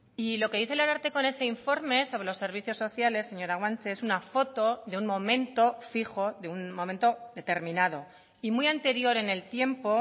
y lo que dice el ararteko en ese informe sobre los servicios sociales señora guanche es una foto de un momento fijo de un momento determinado y muy anterior en el tiempo